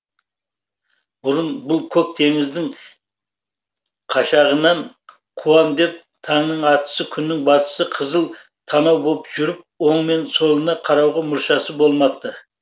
бұрын бұл көк теңіздің қашағынын қуам деп таңның атысы күннің батысы қызыл танау боп жүріп оң мен солына қарауға мұршасы болмапты